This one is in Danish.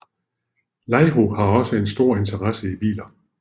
Laiho har også en stor interesse i biler